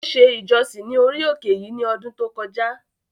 Ó se “ìjọsìn” ní orí òkè yìí ní ọdún tó kọjá.